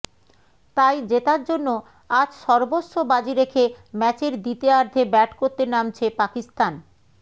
তাই জেতার জন্য আজ সর্বস্ব বাজি রেখে ম্যাচের দ্বিতীয়ার্ধে ব্যাট করতে নামছে পাকিস্তান